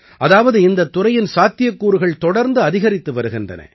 அதாவது இந்தத் துறையின் சாத்தியக்கூறுகள் தொடர்ந்து அதிகரித்து வருகின்றன